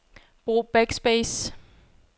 Brug backspace.